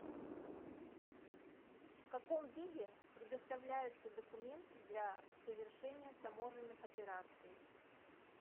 в каком виде предоставляются документы для совершения таможенных операций